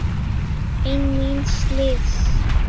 Einn míns liðs.